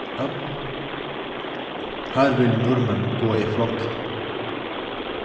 Her vil nordmenn gå i flokk.